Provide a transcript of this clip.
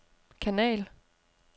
kanal